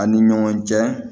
An ni ɲɔgɔn cɛ